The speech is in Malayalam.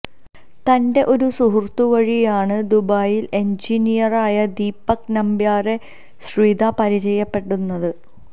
തന്റെ ഒരു സുഹൃത്തുവഴിയാണ് ദുബായില് എന്ജിനിയറായ ദീപക് നമ്പ്യാരെ ശ്രിത പരിചയപ്പെടുന്നത്